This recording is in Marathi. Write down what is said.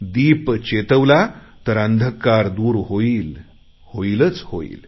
दीप पेटवला तर अंधकार दूर होईल होईलच होईल